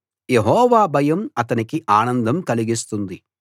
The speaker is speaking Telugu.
యెహోవా భయం అతనికి ఆనందం కలిగిస్తుంది